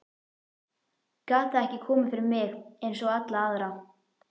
Gat það ekki komið fyrir mig einsog alla aðra?